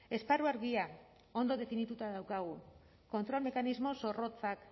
esparru argia ondo definituta daukagu kontrol mekanismo zorrotzak